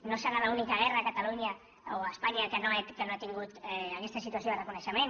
no deu ser l’única guerra a catalunya o a espanya que no ha tingut aquesta situació de reconeixement